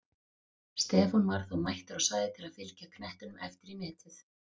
Stefán var þó mættur á svæðið til að fylgja knettinum eftir í netið!